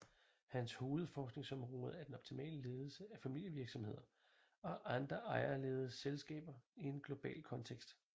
Hans hovedforskningsområde er den optimale ledelse af familievirksomheder og andre ejerledede selskaber i en global kontekst